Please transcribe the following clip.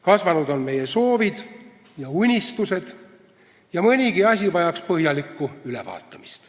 Kasvanud on meie soovid ja unistused ning mõnigi asi vajaks põhjalikku ülevaatamist.